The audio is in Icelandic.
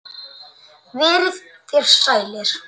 Verið þér sælir.